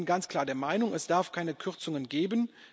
Denn wir sind ganz klar der Meinung Es darf keine Kürzungen geben.